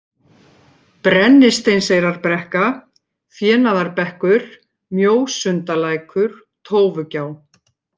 Brennisteinseyrarbrekka, Fénaðarbekkur, Mjósundalækur, Tófugjá